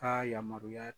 Ka yamaruya